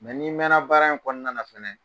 n'i mɛnna baara in kɔnɔna na fɛnɛɛ.